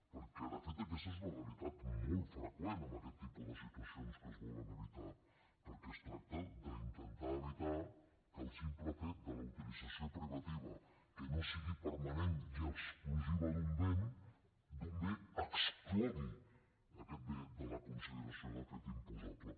perquè de fet aquesta és una realitat molt freqüent en aquest tipus de situacions que es volen evitar perquè es tracta d’intentar evitar que el simple fet de la utilització privativa que no sigui permanent i exclusiva d’un bé exclogui aquest bé de la consideració de fet imposable